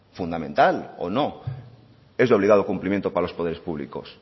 fundamental o no es de obligado cumplimiento para los poderes públicos